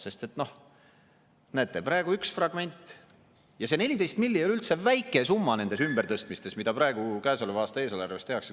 Sest näete, praegu on üks fragment, ja see 14 miljonit ei ole üldse väike summa nendes ümbertõstmistes, mida praegu käesoleva aasta eelarves tehakse.